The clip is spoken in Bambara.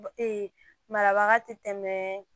marabaga tɛ tɛmɛ